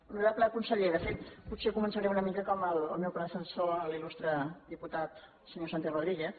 hono rable conseller de fet potser començaré una mica com el meu predecessor l’il·lustre diputat senyor santi rodríguez